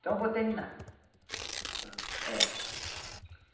Então eu vou terminar. Está. É.